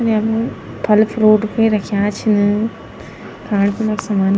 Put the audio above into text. यमु फल-फ्रूट भी रख्या छन खाण पीणा समा --